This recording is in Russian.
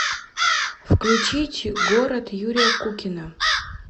включить город юрия кукина